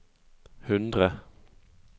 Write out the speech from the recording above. hundre